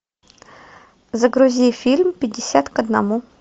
загрузи фильм пятьдесят к одному